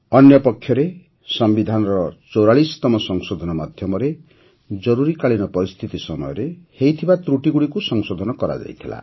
ଅନ୍ୟପକ୍ଷରେ ସମ୍ବିଧାନର ୪୪ତମ ସଂଶୋଧନ ମାଧ୍ୟମରେ ଜରୁରୀକାଳୀନ ପରିସ୍ଥିତି ସମୟରେ ହୋଇଥିବା ତ୍ରୁଟିଗୁଡ଼ିକୁ ସଂଶୋଧନ କରାଯାଇଥିଲା